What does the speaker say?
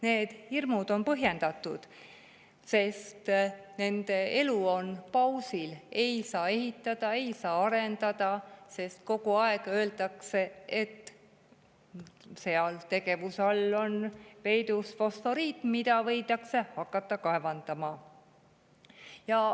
Need hirmud on põhjendatud, sest nende elu on pausil: ei saa ehitada, ei saa arendada, sest kogu aeg öeldakse, et seal all on peidus fosforiit, mida võidakse hakata kaevandama.